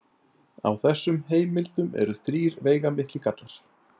Á þessum heimildum eru þrír veigamiklir gallar.